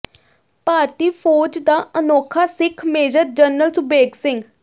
ਭਾਰਤੀ ਫੌਜ ਦਾ ਅਨੋਖਾ ਸਿੱਖ ਮੇਜਰ ਜਨਰਲ ਸੁਬੇਗ ਸਿੰਘ